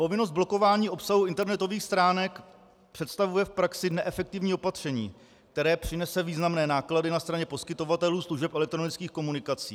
Povinnost blokování obsahu internetových stránek představuje v praxi neefektivní opatření, které přinese významné náklady na straně poskytovatelů služeb elektronických komunikací.